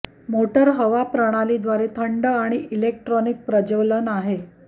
motor हवा प्रणाली द्वारे थंड आणि इलेक्ट्रॉनिक प्रज्वलन आहे